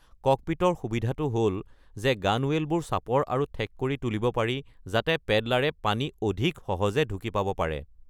ককপিটৰ সুবিধাটো হ’ল যে গানৱেলবোৰ চাপৰ আৰু ঠেক কৰি তুলিব পাৰি যাতে পেডেলাৰে পানী অধিক সহজে ঢুকি পাব পাৰে।